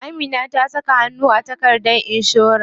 Amina ta saka hannu a takardar inshora.